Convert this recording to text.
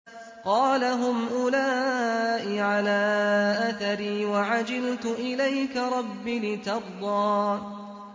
قَالَ هُمْ أُولَاءِ عَلَىٰ أَثَرِي وَعَجِلْتُ إِلَيْكَ رَبِّ لِتَرْضَىٰ